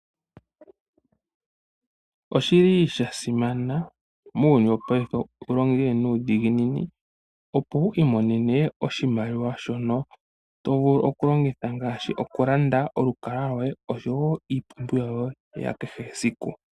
Oshili shasimana muuyuni wo payife wu longe nuudhiginini opo wu I monene oshimaliwa sho no tovulu okulongitha ngaashi okulanda olukalwa lwoye oshowo iipumbuwa yo ye ya kehe esiku.